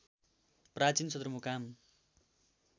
प्राचीन सदरमुकाम